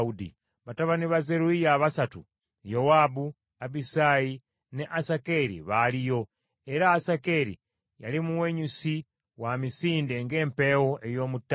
Batabani ba Zeruyiya abasatu Yowaabu, Abisaayi, ne Asakeri baaliyo, era Asakeri yali muwenyusi wa misinde ng’empeewo ey’omu ttale.